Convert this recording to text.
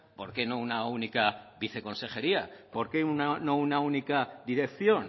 por qué no una única viceconsejería por qué no una única dirección